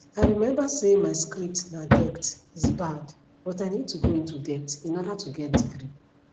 i remember say my script na debt is bad but i need to go into debt in order to get degree